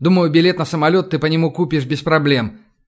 думаю билет на самолёт и ты по нему купишь без проблем